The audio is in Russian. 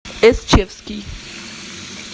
эсчевский